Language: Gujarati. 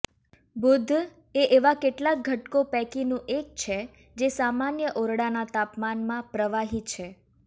બુધ એ એવા કેટલાક ઘટકો પૈકીનું એક છે જે સામાન્ય ઓરડાના તાપમાનમાં પ્રવાહી છે